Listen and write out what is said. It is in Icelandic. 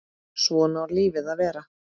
Svona á lífið að vera.